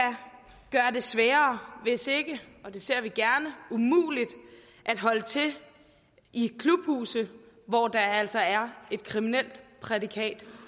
gøre det sværere hvis ikke og det ser vi gerne umuligt at holde til i klubhuse hvor der altså er et kriminelt prædikat